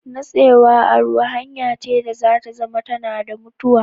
Natsewa a ruwa hanya ce da za ta zama tana da mutuwa